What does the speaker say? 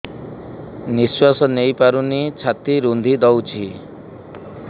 ନିଶ୍ୱାସ ନେଇପାରୁନି ଛାତି ରୁନ୍ଧି ଦଉଛି